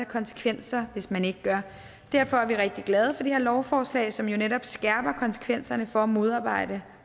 konsekvenser hvis man ikke gør derfor er vi rigtig glade for det her lovforslag som jo netop skærper konsekvenserne for at modarbejde